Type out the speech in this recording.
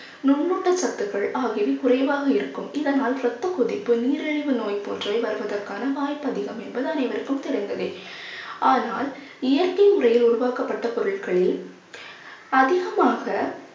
நுண் ஊட்டச்சத்துக்கள் ஆகியவை குறைவாக இருக்கும். இதனால் இரத்த நீரிழிவு நோய் போன்றே வருவதற்கான வாய்ப்பு அதிகம் என்பது அனைவருக்கும் தெரிந்ததே ஆனால் இயற்கை முறையில் உருவாக்கப்பட்ட பொருட்களில் அதிகமாக